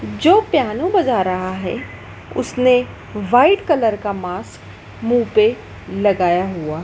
जो पियानो बजा रहा है उसने व्हाइट कलर का मास्क मुंह पे लगाया हुआ--